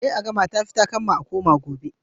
a yi a gama, ta fi takamma, gobe a koma